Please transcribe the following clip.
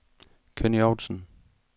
Kenny Outzen